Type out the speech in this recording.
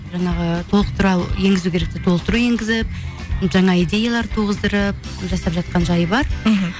жаңағы толықтыра енгізу керекті толықтыру енгізіп жаңа идеялар туғыздырып жасап жатқан жайы бар мхм